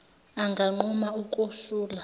anganquma uku sula